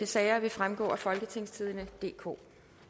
sager vil fremgå af folketingstidende DK